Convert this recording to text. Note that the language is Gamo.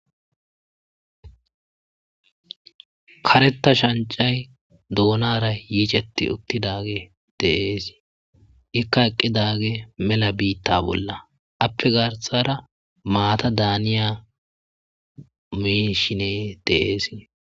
karetta shancay duunara yiicetti uttidage de'eesi ikka eqqidage mela biitta bolla appe garsara maata daaniya mishine de'eesi